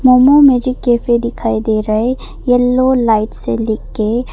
momo Magic Cafe दिखाई दे रहा है येलो लाइट से लिख के--